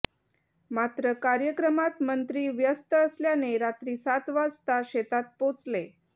मात्र कार्यक्रमात मंत्री व्यस्त असल्याने रात्री सात वाजता शेतात पोचले